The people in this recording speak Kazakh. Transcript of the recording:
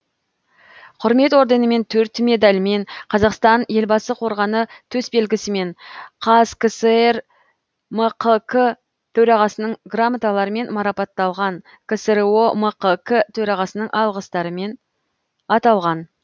құрмет орденімен төрт медальмен қазақстан елбасы қорғаны төс белгісімен қазкср мқк төрағасының грамоталарымен марапатталған ксро мқк төрағасының алғыстарымен аталған